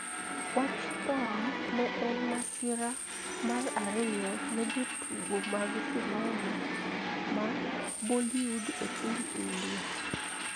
Wach thone ne en masira mar ariyo ne jotugo mag sinema ma Bollywood e piny India.